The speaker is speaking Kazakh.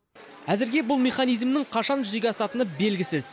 әзірге бұл механизмнің қашан жүзеге асатыны белгісіз